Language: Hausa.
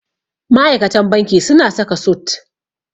Ma'aikatan banki suna saka sut.